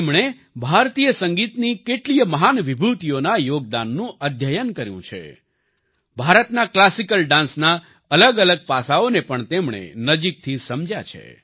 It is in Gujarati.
તેમણે ભારતીય સંગીતની કેટલીયે મહાન વિભૂતિઓના યોગદાનનું અધ્યયન કર્યું છે ભારતના ક્લાસિકલ ડાન્સના અલગઅલગ પાસાઓને પણ તેમણે નજીકથી સમજ્યા છે